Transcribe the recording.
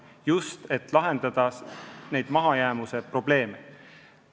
Seda just selleks, et lahendada neid mahajäämusega seotud probleeme.